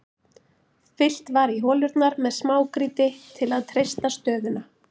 Fyllt var í holurnar með smágrýti til að treysta stöðuna.